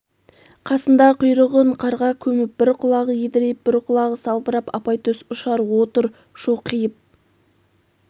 қасында құйрығын қарға көміп бір құлағы едірейп бір құлағы салбырап апайтөс ұшар отыр шоқиып